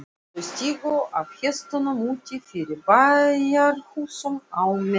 Þau stigu af hestunum úti fyrir bæjarhúsunum á Melstað.